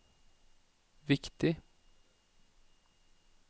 viktig